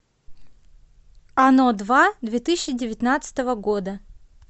оно два две тысячи девятнадцатого года